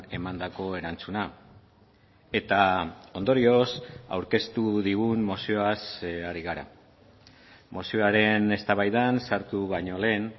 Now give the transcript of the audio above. emandako erantzuna eta ondorioz aurkeztu digun mozioaz ari gara mozioaren eztabaidan sartu baino lehen